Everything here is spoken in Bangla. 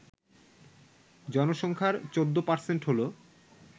জনসংখ্যার ১৪% হল